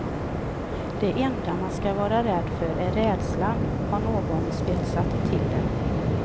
Det enda man ska vara rädd för är rädslan, har någon spetsat till det.